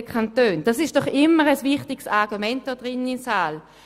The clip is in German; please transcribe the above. Das ist doch immer ein wichtiges Argument hier im Grossen Rat.